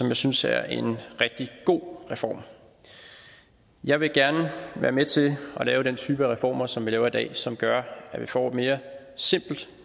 jeg synes det er en rigtig god reform jeg vil gerne være med til at lave den type af reformer som vi laver i dag og som gør at vi får et mere simpelt